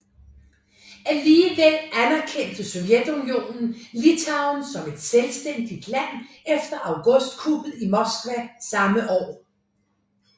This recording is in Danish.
Alligevel anerkendte Sovjetunionen Litauen som et selvstændigt land efter augustkuppet i Moskva samme år